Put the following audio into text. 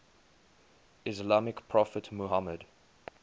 islamic prophet muhammad